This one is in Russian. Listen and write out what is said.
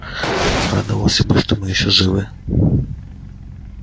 радовался бы что мы ещё живы